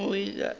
re moloi ga a na